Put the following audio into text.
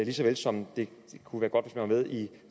lige så vel som det kunne være godt var med i